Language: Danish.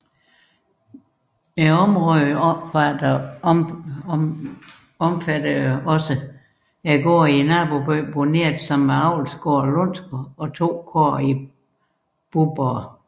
Godsområdet omfattede også gårde i nabobyen Bonert samt avslgården Lundsgård og to kåd i Buborg